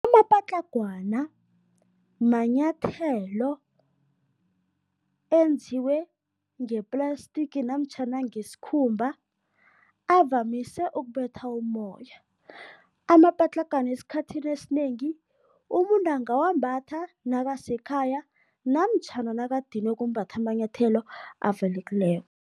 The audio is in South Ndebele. Amapatlagwana manyathelo enziwe ngeplastiki namtjhana ngesikhumba, avamise ukubetha umoya. Amapatlagwana esikhathini esinengi, umuntu angawambatha nakasekhaya namtjhana nakadinwe kumbatha amanyathelo avalekileko.